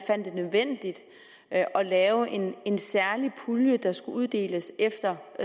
det nødvendigt at lave en særlig pulje der skulle uddeles efter